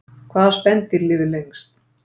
hvaða spendýr lifir lengst